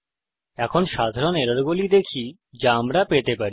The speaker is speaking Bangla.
এখন সাধারণ এররগুলি দেখি যা আমরা পেতে পারি